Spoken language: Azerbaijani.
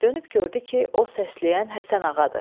Dönüb gördü ki, o səsləyən Həsən Ağadır.